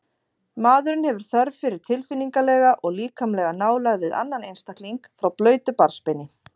Maðurinn hefur þörf fyrir tilfinningalega og líkamlega nálægð við annan einstakling frá blautu barnsbeini.